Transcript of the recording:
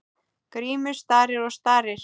Grímur starir og starir.